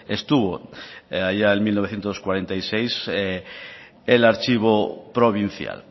estuvo allá en mil novecientos cuarenta y seis el archivo provincial